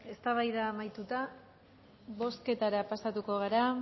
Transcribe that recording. eztabaida amaituta bozketara pasatuko gara